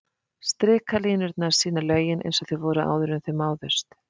Strikalínurnar sýna lögin eins og þau voru áður en þau máðust.